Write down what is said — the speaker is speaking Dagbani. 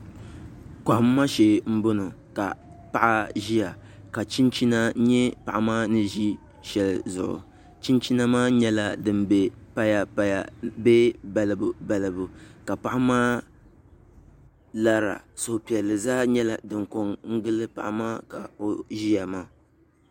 Kɔhimma shee m-bɔŋɔ ka paɣa ʒiya ka chinchina nyɛ paɣa maa ni ʒi shɛli zuɣu chinchina maa nyɛla din be payapaya bee balibalibu ka paɣa maa lara suhupiɛlli zaa nyɛla din ko n-gili paɣa maa ka o ʒiya maa